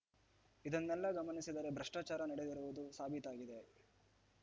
ಇದನ್ನೆಲ್ಲಾ ಗಮನಿಸಿದರೆ ಭ್ರಷ್ಟಾಚಾರ ನಡೆದಿರುವುದು ಸಾಬೀತಾಗಿದೆ